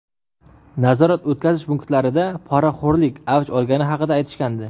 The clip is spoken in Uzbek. Nazorat-o‘tkazish punktlarida poraxo‘rlik avj olgani haqida aytishgandi.